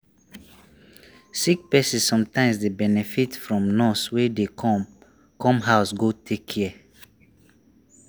sick person sometimes dey benefit from nurse wey dey come come house go take care.